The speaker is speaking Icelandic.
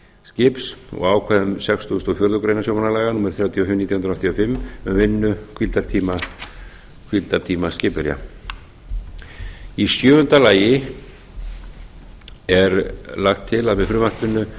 skips og ákvæðum sextugustu og fjórðu greinar sjómannalaga númer þrjátíu og fimm nítján hundruð áttatíu og fimm um vinnu og hvíldartíma skipverja sjöunda frumvarpið gerir ráð fyrir að